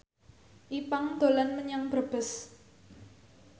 Ipank dolan menyang Brebes